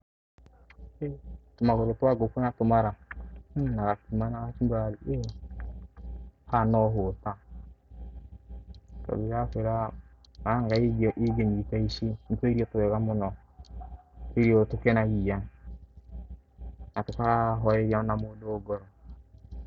He, tũmagũrũ twa ngũkũ na tũmara, na gakima na kachumbari ha no hota, tondũ ndĩrakwĩra haha ĩngenyita ici, nĩ tũirio twega mũno, tũirio tũkenagia na tũkahoreria ona mũndu ngoro.